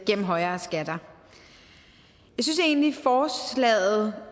gennem højere skatter jeg synes egentlig forslaget